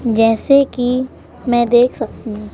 जैसे कि मैं देख सकती हूं--